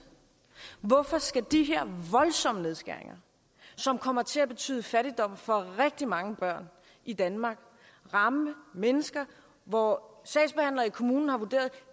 hvorfor skal de her voldsomme nedskæringer som kommer til at betyde fattigdom for rigtig mange børn i danmark ramme mennesker hvor sagsbehandlere i kommunen har vurderet